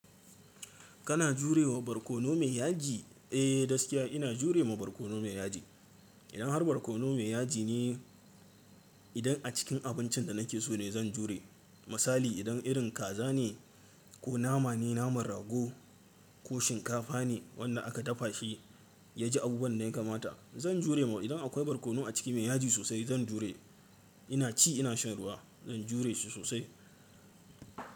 Kana jurewa barkono mai yaji? Eh, gaskiya ina jurewa barkono mai yaji. Idan har barkono mai yaji ne idan a cikin abincin da nake so ne zan jure. Misali idan irin kaza ne ko nama ne naman rago ko shinkafa ne wanda aka dafa shi ya ji abubuwan da ya kamata zan juremai. Idan akwai barkono a ciki mai yaji sosai zan jure. Ina ci ina shan ruwa zan jure shi sosai.